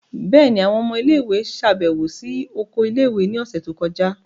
Bẹẹni, awọn ọmọ ile-iwe ṣabẹwo si oko ile-iwe ni ọsẹ to kọja.